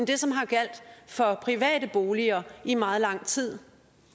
det som har gjaldt for private boliger i meget lang tid